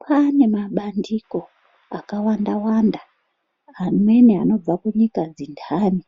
Kwane mabandiko akawanda-wanda amweni anobva kunyika dzinthani